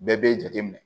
Bɛɛ b'e jate minɛ